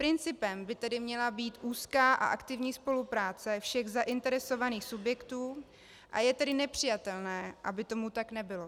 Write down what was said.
Principem by tedy měla být úzká a aktivní spolupráce všech zainteresovaných subjektů, a je tedy nepřijatelné, aby tomu tak nebylo.